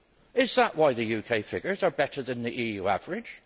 Is that why the UK figures are better than the EU average?